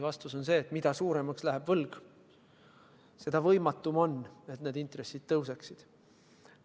Vastus on see, et mida suuremaks läheb võlg, seda võimatum on, et intressid tõuseksid.